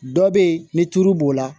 Dɔ bɛ yen ni tulu b'o la